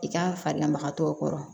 I ka farilama tɔw kɔrɔ